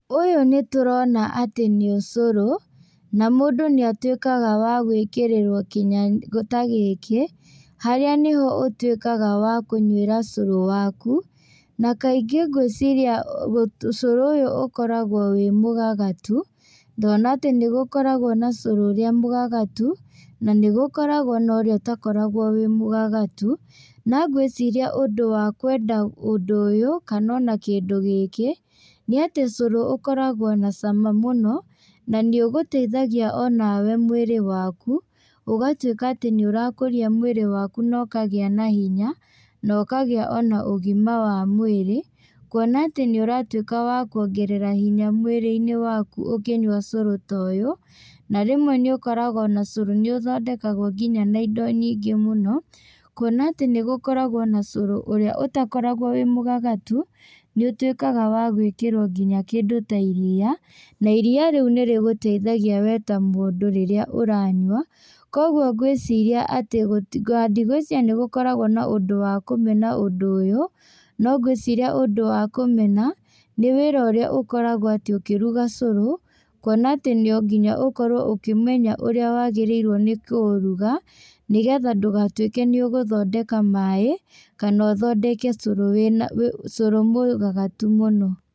Ũyũ nĩtũrona atĩ nĩ ũcũrũ, na mũndũ nĩatuĩkaga wa gwĩkĩrĩrwo kinya ta gĩkĩ, harĩa nĩho ũtuĩkaga wa kũnywĩra cũrũ waku, na kaingĩ ngwĩciria gũ cũrũ ũyũ ũkoragwo wĩ mũgagatu, ngona atĩ nĩgũkoragwo na cũrũ ũrĩa mũgagatu, na nĩgũkoragwo na ũrĩa ũtakoragwo wĩ mũgagatu, na ngwĩciria ũndũ wa kwenda ũndũ ũyũ, kana ona kĩndũ gĩkĩ, nĩatĩ cũrũ ũkoragwo na cama mũno, na niũgũteithagia onawe mwĩrĩ waku, ũgatuĩka atĩ nĩũrakũria mwĩrĩ waku na ũkagĩa na hinya na ũkagĩa ona ũgima wa mwĩrĩ, kuona atĩ nĩũratuĩka wa kuongerera hinya mwĩrĩinĩ waku ũkĩnyua cũrũ ta ũyũ, na rĩmwe nĩũkoraga ona cũrũ nĩũthondekagwo nginya na indo nyingĩ mũno, kuona atĩ nĩgũkoragwo na cũrũ ũrĩa ũtakoragwo wĩ mũgagatu, nĩũtuĩkaga wa gwĩkĩrwo nginya kĩndũ ta iria, na iria rĩũ nĩrĩgũteithagia we ta mũndũ rĩrĩa ũranyua, koguo ngwĩciria atĩ ndigwĩciria nĩgũkoragwo na ũndũ wa kũmena ũndũ ũyũ, no ngwĩciria ũndũ wa kũmena, nĩ wĩra ũrĩa ũkoragwo atĩ ũkĩruga cũrũ, kuona atĩ no nginya ũkorwo ũkĩmenya ũrĩa wagĩrĩirwo nĩkũuruga, nĩgetha ndũgatuĩke nĩũgũthondeka maĩ, kana ũthondeke cũrũ wĩna cũrũ mũgagatu mũno.